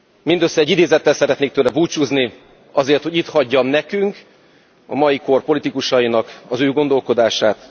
Mindössze egy idézettel szeretnék tőle búcsúzni, azért, hogy itt hagyjam nekünk, a mai kor politikusainak az ő gondolkodását.